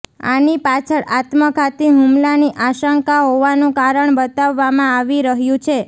આની પાછળ આત્મઘાતી હુમલાની આશંકા હોવાનું કારણ બતાવવામાં આવી રહ્યું છે